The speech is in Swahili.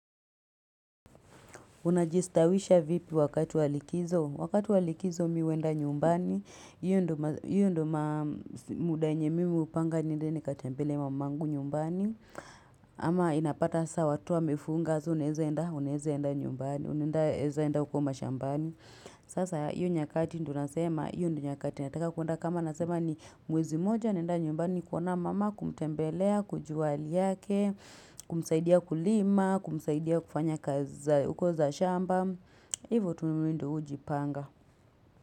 Una jistawisha vipi wakati walikizo? Wakati walikizo mi huwenda nyumbani hiyo ndiyo Hio ndo muda yenye mimi hupanga niende nikatembele mamangu nyumbani. Ama inapata saa watu wamefunga so unaweza enda unaweza enda nyumbani, unae zaenda uko mashambani. Sasa io nyakati ndo nasema, io ndo nyakati nataka kwenda kama nasema ni mwezi moja naenda nyumbani kuona mama kumtembelea, kujua hali yake, kumsaidia kulima, kumsaidia kufanya kazi za uko za shamba. Hivo tu mimi ndo hujipanga.